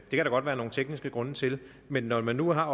godt være nogle tekniske grunde til men når det nu er